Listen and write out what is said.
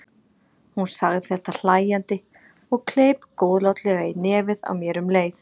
Hún sagði þetta hlæjandi og kleip góðlátlega í nefið á mér um leið.